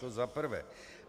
To za prvé.